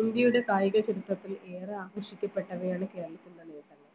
ഇന്ത്യയുടെ കായിക ചരിത്രത്തിൽ ഏറെ ആകർഷിക്കപ്പെട്ടവയാണ് കേരളത്തിൻറെ നിയന്ത്രണം